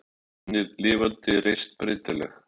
Ímyndun mín var lifandi, reist, breytileg.